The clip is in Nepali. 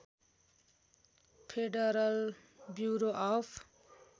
federal bureau of